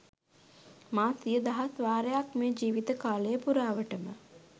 මා සිය දහස් වාරයක් මේ ජීවිත කාලය පුරාවටම